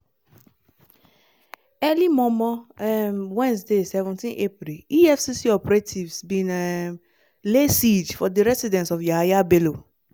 early mor-mor um wednesday seventeenapril efcc operatives bin um lay siege for di residence of yahaya bello